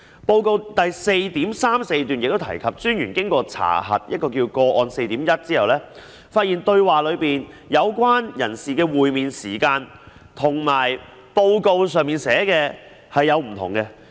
報告第 4.34 段提及，專員經查核個案 4.1 後，發現通話中有關人士的會面時間和報告所寫有出入。